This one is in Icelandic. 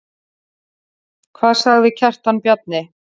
Hvað sagði Kjartan Bjarni?